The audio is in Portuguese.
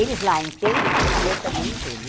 Eles lá entendem e eu também entendo.